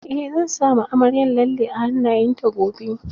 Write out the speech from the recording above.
Eh zan sama amaryar lalle a hannayen ta gobe